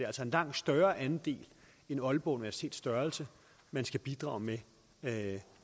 altså en langt større andel end aalborg universitets størrelse man skal bidrage med